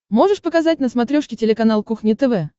можешь показать на смотрешке телеканал кухня тв